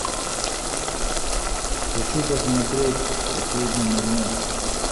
хочу посмотреть последний магнат